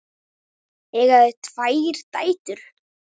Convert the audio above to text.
Eiga þau tvær dætur.